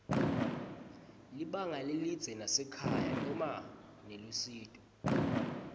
libanga lelidze nasekhaya noma nelusito